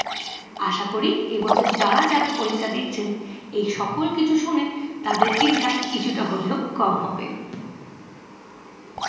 আশা করি এ বছর যারা যারা পরীক্ষা দিছে এই সকল কিছু শুনে তাদের চিন্তা কিছুটা হলেও কম হবে।